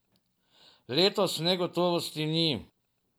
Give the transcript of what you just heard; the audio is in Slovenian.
Letos negotovosti ni.